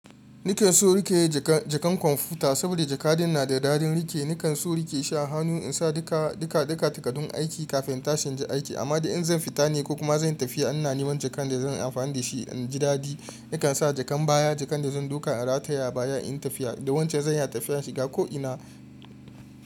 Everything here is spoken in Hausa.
Ni kan so rike ja jakan, jakan kwamfuta saboda jakadin na da dadin rike. Ni kan so rike shi a hannu in sa duka, duka takardun aiki kafin intashi inji aiki. Amma da in zan fita ne ko kuma zanyi tafiya, ina neman jakan ne zanyi amfani da shi in ji dadi. Nakan sa jakan baya, jakan da zan duka in rataya abaya inyi tafiya da wancan zan iya tafiya shiga ko ina.